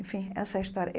Enfim, essa é a história.